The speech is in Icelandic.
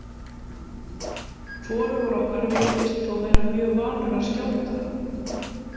Hvorugur okkar virðist þó vera mjög vanur að skjóta